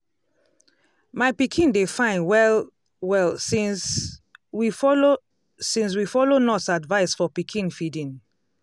my pikin dey fine well-well since we follow since we follow nurse advice for pikin feeding.